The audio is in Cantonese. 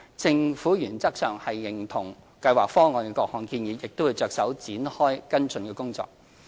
政府原則上認同《計劃方案》的各項建議，並會着手展開跟進工作。